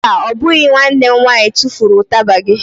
Mba, ọ bụghị nwanne m nwaanyị tufuru ụtaba gị.